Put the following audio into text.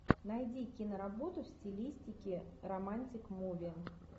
найди киноработу в стилистике романтик муви